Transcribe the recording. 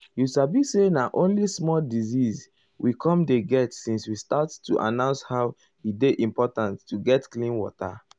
you sabi say na only small disease we com dey get since we start to announce how e dey important to get clean water.